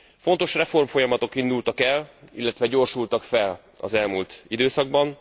Fontos reformfolyamatok indultak el, illetve gyorsultak fel az elmúlt időszakban.